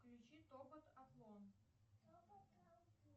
включи тобот атлон